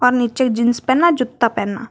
नीचे जींस पहना जूता पहना--